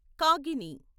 కాగిని